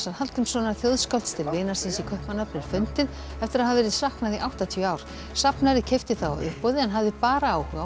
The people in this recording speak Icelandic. Hallgrímssonar þjóðskálds til vinar síns í Kaupmannahöfn er fundið eftir að hafa verið saknað í áttatíu ár safnari keypti það á uppboði en hafði bara áhuga á